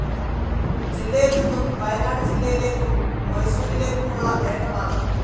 ജില്ലയിൽനിന്നും വയനാട് ജില്ലയിലേക്കും മൈസൂറിലേക്കുമുള്ള ഏകപാത.